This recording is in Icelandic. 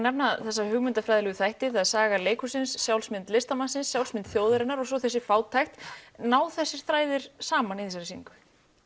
nefna þessa hugmyndafræðilegu þætti það er saga leikhússins sjálfsmynd listamannsins sjálfsmynd þjóðarinnar og svo þessi fátækt ná þessir þræðir saman í þessari sýningu